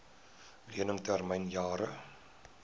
lening termyn jare